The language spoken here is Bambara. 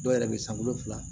Dɔw yɛrɛ bɛ san wolo fila